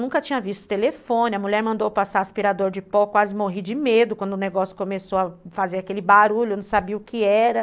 Nunca tinha visto o telefone, a mulher mandou passar aspirador de pó, quase morri de medo quando o negócio começou a fazer aquele barulho, eu não sabia o que era.